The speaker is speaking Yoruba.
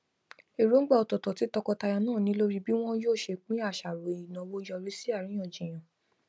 èróngbà ọtọọtọ tí tọkọtaya náà ni lórí bí wọn yóò ṣe pín àṣàrò ìnáwó yọrí sí àríyànjiyàn